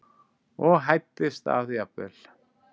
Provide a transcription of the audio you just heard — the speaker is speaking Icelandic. og hæddist að jafnvel